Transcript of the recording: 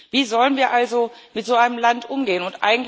Wie sollen wir also mit so einem Land umgehen?